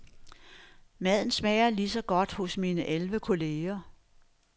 Maden smager ligeså godt hos mine elleve kolleger.